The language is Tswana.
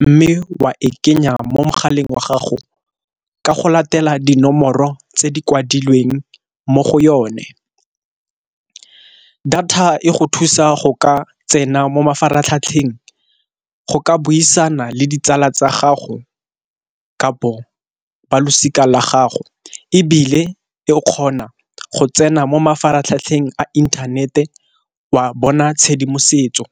mme wa e kenya mo mogaleng wa gago ka go latela dinomoro tse di kwadilweng mo go yone. Data e go thusa go ka tsena mo mafaratlhatlheng go ka buisana le tsala tsa gago kapo ba losika la gago, ebile e o kgona go tsena mo mafaratlhatlheng a inthanete wa bona tshedimosetso.